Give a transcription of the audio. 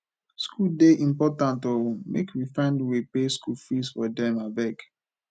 skool dey important o make we find way pay skool fees for them abeg